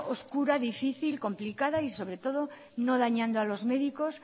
oscura difícil complicada y sobre todo no dañando a los médicos